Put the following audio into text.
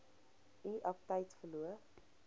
u aptyt verloor